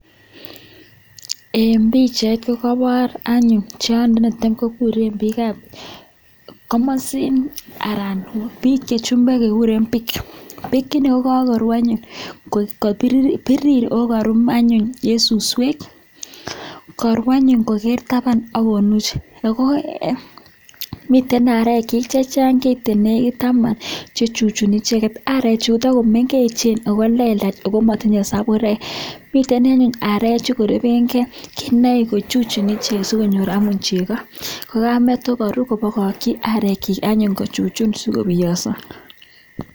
Eng pichait kokebar anyuun tiony netam kokureen piik ngurueeet kasheeeo nguny ako nmiteii ak areek chiiik chematinyee sabureeek ako mitei arechuu kochuchundos sikopiangsaaaa